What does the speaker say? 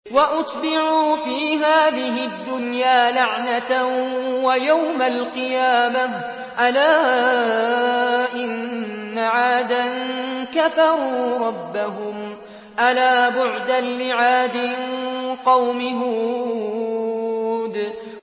وَأُتْبِعُوا فِي هَٰذِهِ الدُّنْيَا لَعْنَةً وَيَوْمَ الْقِيَامَةِ ۗ أَلَا إِنَّ عَادًا كَفَرُوا رَبَّهُمْ ۗ أَلَا بُعْدًا لِّعَادٍ قَوْمِ هُودٍ